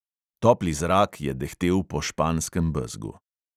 Topli zrak je dehtel po španskem bezgu.